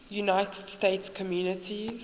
united states communities